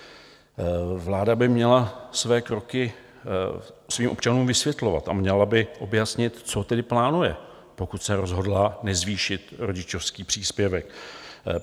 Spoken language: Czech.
Vláda by měla své kroky svým občanům vysvětlovat a měla by objasnit, co tedy plánuje, pokud se rozhodla nezvýšit rodičovský příspěvek.